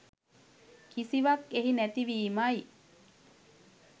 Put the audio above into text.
කිසිවක් එහි නැති වීමයි.